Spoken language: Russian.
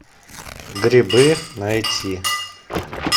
грибы найти